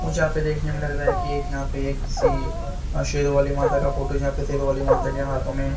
मुझे यहां पे देखने में लग रहा है कि एक यहां पे एक सी शेर वाली माता का फोटो यहां पे शेरो वाली माता के हाथों में--